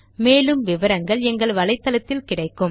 மேலும் விவரங்களுக்கு httpspoken tutorialorgNMEICT Intro